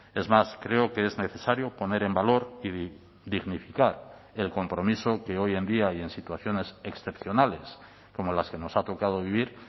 es más creo que es necesario poner en valor y dignificar el compromiso que hoy en día y en situaciones excepcionales como las que nos ha tocado vivir